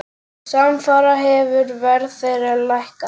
Samfara hefur verð þeirra lækkað.